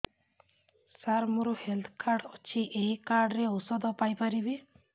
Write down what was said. ସାର ମୋର health card ଅଛି ଏହି କାର୍ଡ ରେ ଔଷଧ ପାଇପାରିବି